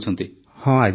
ପ୍ରେମ୍ ଜୀ ହଁ ଆଜ୍ଞା